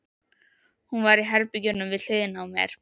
Hún var í herberginu við hliðina á mér.